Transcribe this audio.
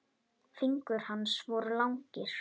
Fingur hans voru langir.